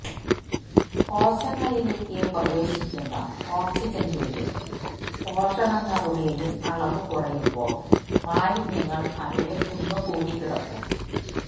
കോശങ്ങളിലേക്ക് പ്രവേശിക്കുന്ന ഓക്സിജന്റെയും പോഷണങ്ങളുടെയും അളവ് കുറയുമ്പോള് മാലിന്യങ്ങള് അവിടെ കുന്നുകൂടിക്കിടക്കും